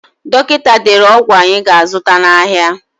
Dọkịta dere ọgwụ anyị ga-azụta n'ahịa.